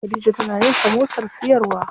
Khadija tana yin samosar siyarwa.